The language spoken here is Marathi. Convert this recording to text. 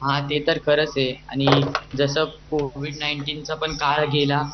हा ते तर खरच आहे आणि जस कोविड नाइनटीनचा पण काळ गेला